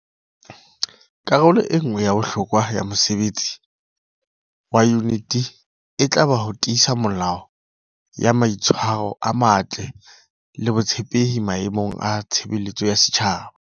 Karolo e nngwe ya bohlokwa ya mosebetsi wa Yuniti e tla ba ho tiisa melao ya mai tshwaro a matle le botshepehi maemong a tshebeletso ya setjhaba.